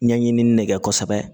Ɲɛɲinini ne kɛ kosɛbɛ